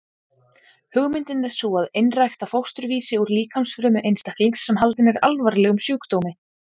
Hugmyndin er sú að einrækta fósturvísi úr líkamsfrumu einstaklings sem haldinn er alvarlegum sjúkdómi.